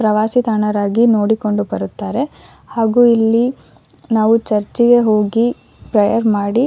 ಪ್ರವಾಸಿತಾಣರಾಗಿ ನೋಡಿಕೊಂಡು ಬರುತ್ತಾರೆ ಹಾಗು ಇಲ್ಲಿ ನಾವು ಚುರ್ಚಿಗೆ ಹೋಗಿ ಪರ್ಯೆರ್ ಮಾಡಿ--